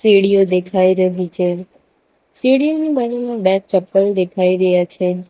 સીડીયો દેખાઈ રહી છે સીડીની બાજુમાં બે ચપ્પલ દેખાઈ રહ્યા છે.